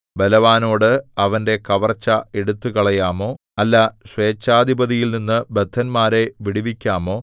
ബലവാനോട് അവന്റെ കവർച്ച എടുത്തുകളയാമോ അല്ല സ്വേച്ഛാധിപതിയിൽനിന്ന് ബദ്ധന്മാരെ വിടുവിക്കാമോ